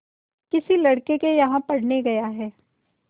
किसी लड़के के यहाँ पढ़ने गया है